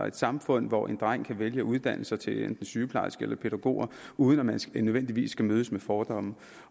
et samfund hvor en dreng kan vælge at uddanne sig til enten sygeplejerske eller pædagog uden nødvendigvis at skulle mødes med fordomme